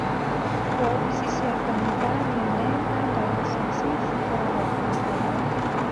Wobici cia kanitha nene na dayocese cikoragwo handũ hamwe